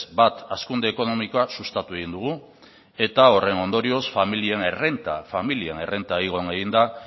bat hazkunde ekonomikoa sustatu egin dugu eta horren ondorioz familien errenta igo egin da